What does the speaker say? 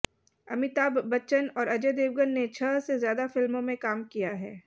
अमिताभ बच्चन और अजय देवगन ने छह से ज्यादा फिल्मों में काम किया है